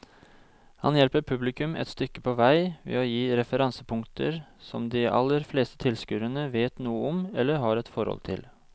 Han hjelper publikum et stykke på vei ved å gi referansepunkter som de aller fleste tilskuere vet noe om eller har et forhold til.